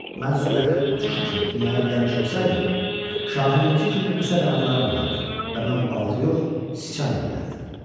Mən sürətli uçuş üçün dünyaya gəlmiş olsaydım, şahinininki kimi qısa qanadlarım olardı və mən balıq yox, sıçan yeyərdim.